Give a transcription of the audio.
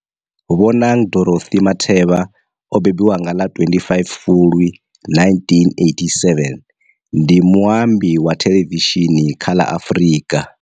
Bonang Dorothy Matheba o mbembiwa nga ḽa 25 Fulwi 1987, ndi muambi wa thelevishini kha la Afrika